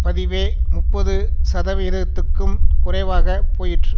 பதிவே முப்பது சதவிகிதத்துக்கும் குறைவாக போயிற்று